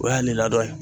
O y'a nin ladon ye